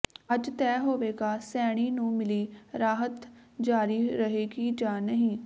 ਅੱਜ ਤੈਅ ਹੋਵੇਗਾ ਸੈਣੀ ਨੂੰ ਮਿਲੀ ਰਾਹਤ ਜਾਰੀ ਰਹੇਗੀ ਜਾਂ ਨਹੀਂ